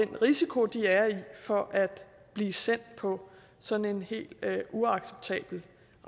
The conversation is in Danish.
den risiko de er i for at blive sendt på sådan en helt uacceptabel